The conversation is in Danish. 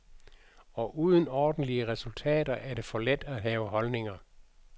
Og uden ordentlige resultater er det for let at have holdninger.